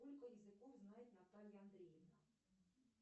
сколько языков знает наталья андреевна